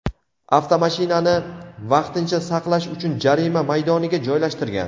avtomashinani vaqtincha saqlash uchun jarima maydoniga joylashtirgan.